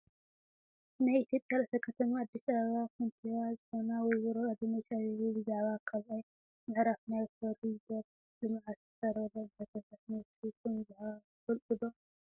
ናይ ኢትዮጵያ ርእሰ ከተማ ኣዲስ ኣበባ ከንቲባ ዝኮና ወ/ሮ አዳነች አቤቤ ብዛዕባ ካልኣይ ምዕራፍ ናይ ኮሪደር ልምዓት ዝቀረበለን ሕቶታት መልሲ ከምዝሃባ ትፈልጡ ዶ ?